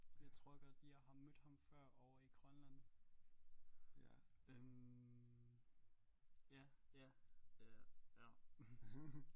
Jeg tror godt jeg har mødt ham før ovre i Grønland øh ja ja øh ja